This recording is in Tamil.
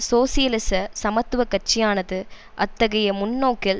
சோசியலிச சமத்துவ கட்சியானது அத்தகைய முன்னோக்கில்